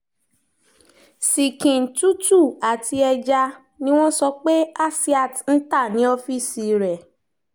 ṣìkìn tútù àti ẹja ni wọ́n sọ pé asiat ń ta ni ọ́fíìsì rẹ̀